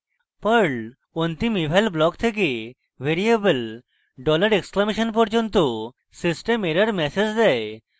perl অন্তিম eval block থেকে variable dollar exclamation $! পর্যন্ত system error ম্যাসেজ দেয়